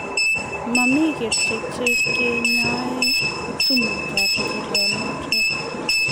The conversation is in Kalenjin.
mami kerichek che kinyoe sumutab njirionotok.